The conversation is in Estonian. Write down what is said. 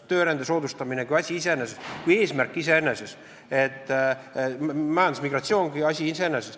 Töörände soodustamine kui asi iseeneses, kui eesmärk iseeneses, majandusmigratsioon kui asi iseeneses.